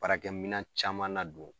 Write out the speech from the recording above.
Baarakɛminɛn caman na don